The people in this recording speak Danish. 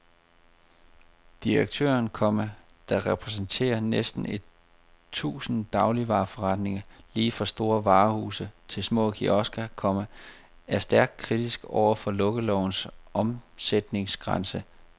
Direktøren, komma der repræsenterer næsten et tusind dagligvareforretninger lige fra store varehuse til små kiosker, komma er stærkt kritisk over for lukkelovens omsætningsgrænse. punktum